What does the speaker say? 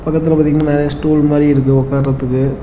பக்கத்துல பாத்தீங்கன்னா நெறைய ஸ்டுல் மாறி இருக்கு உட்காரத்துக்கு.